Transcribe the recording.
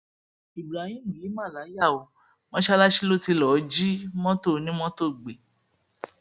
ibrahim yìí ma láyà o mọṣáláṣí ló ti lọọ jí mọtò onímọtò gbé